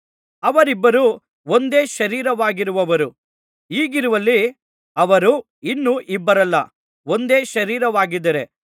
ಅವರಿಬ್ಬರು ಒಂದೇ ಶರೀರವಾಗಿರುವರು ಹೀಗಿರುವಲ್ಲಿ ಅವರು ಇನ್ನು ಇಬ್ಬರಲ್ಲ ಒಂದೇ ಶರೀರವಾಗಿದ್ದಾರೆ